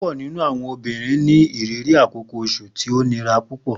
Pupọ ninu awọn obinrin ni iriri akoko oṣu ti o ni irora pupọ.